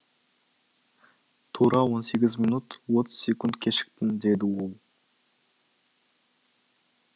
тура он сегіз минут отыз секунд кешіктің деді ол